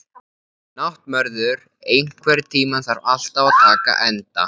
Náttmörður, einhvern tímann þarf allt að taka enda.